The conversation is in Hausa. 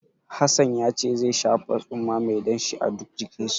Hassan yace zai shafa tsumma mai danshi a duk jikinsa.